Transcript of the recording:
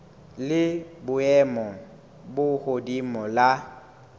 la boemo bo hodimo la